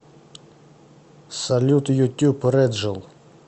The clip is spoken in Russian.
салют ютуб рэджл